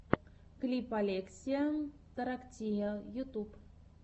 клип олексия тороктия ютуб